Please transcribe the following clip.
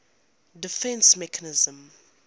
defence mechanism